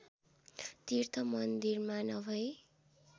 तीर्थ मन्दिरमा नभई